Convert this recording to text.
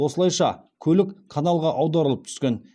осылайша көлік каналға аударылып түскен